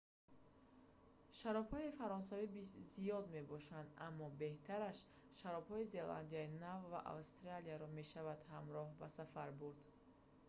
шаробҳои фаронсавӣ зиёд мебошанд аммо беҳтараш шаробҳои зеландияи нав ва австралияро мешавад ҳамроҳ ба сафар бурд